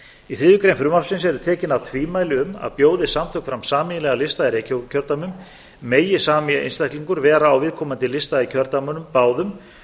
í þriðju grein frumvarpsins eru tekin af tvímæli um að bjóði samtök fram sameiginlegan lista í reykjavíkurkjördæmunum megi sami einstaklingur vera á viðkomandi lista í kjördæmunum báðum